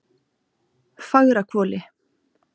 Fagrahvoli